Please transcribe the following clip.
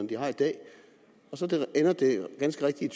de har i dag så ender det ganske rigtigt